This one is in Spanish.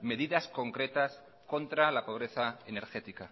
medidas concretas contra la pobreza energética